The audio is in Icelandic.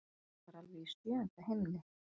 Ég er bara alveg í sjöunda himni.